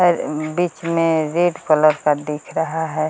बीच में red colour का दिख रहा है।